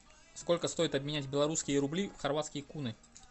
сколько стоит обменять белорусские рубли в хорватские куны